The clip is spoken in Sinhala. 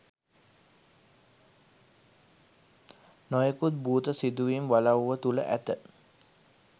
නොයෙකුත් භූත සිදුවීම් වලව්ව තුළ ඇත